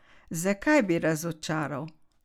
Zakaj bi razočaral?